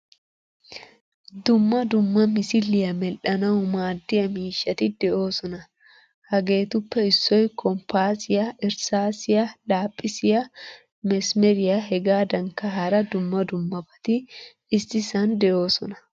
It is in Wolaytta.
Dumma dumma misiliyaa medhdhanawu maadiyaa miishshati deosona. Hageetuppe issoy kompasiyaa, irsaasiyaa, laaphphisiyaa . mesmeriyaa hegadankka hara dumma dummabati issisan deosona.